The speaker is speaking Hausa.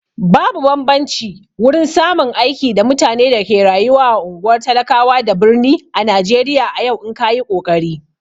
Babu bambanci wurin samun aiki da mutane da ke rayuwa a ungwar talakawa da birni ã Najeriya a yau in kayi kokari.